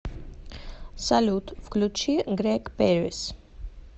салют включи грег пэрис